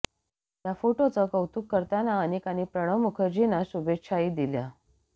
या फोटोचं कौतुक करताना अनेकांनी प्रणव मुखर्जींना शुभेच्छाही दिल्या